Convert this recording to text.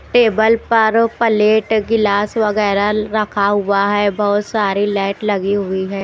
Table पर plate गिलास वगैरा रखा हुआ है बहोत सारी लाइट लगी हुई है।